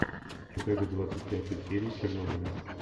покажи двадцать пятую серию чернобыля